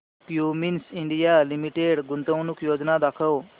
Cummins India Limited गुंतवणूक योजना दाखव